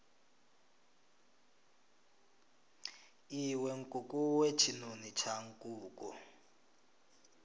iwe nkukuwe tshinoni tsha nkuku